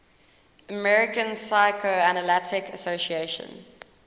american psychoanalytic association